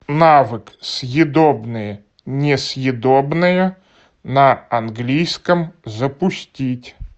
навык съедобное несъедобное на английском запустить